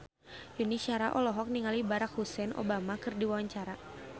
Yuni Shara olohok ningali Barack Hussein Obama keur diwawancara